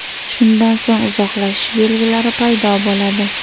Shundan so‘ng uzoqlashish belgilari paydo bo‘ladi.